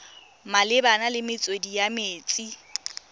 malebana le metswedi ya metsi